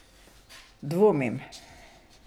Dvomim.